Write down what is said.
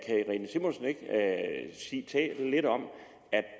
sige lidt om at